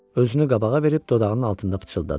Özünü qabağa verib dodağının altında fısıldadı.